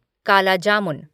काला जीमुन